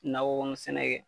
Nakɔ kɔnɔ sɛnɛ kɛ